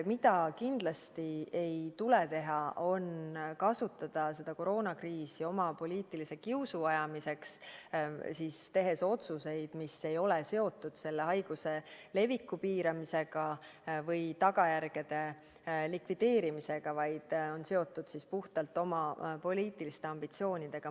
Aga kindlasti ei tule teha seda, et kasutada koroonakriisi oma poliitilise kiusu ajamiseks, tehes otsuseid, mis ei ole seotud selle haiguse leviku piiramise või tagajärgede likvideerimisega, vaid on seotud puhtalt oma poliitiliste ambitsioonidega.